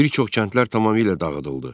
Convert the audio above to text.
Bir çox kəndlər tamamilə dağıdıldı.